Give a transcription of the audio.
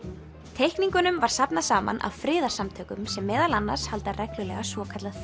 teikningunum var safnað saman af friðarsamtökum sem meðal annars halda reglulega svokallað